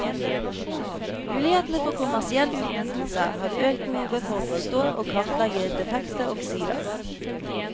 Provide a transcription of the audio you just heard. Mulighetene for kommersiell utnyttelse har økt behovet for å forstå og kartlegge defekte oksider.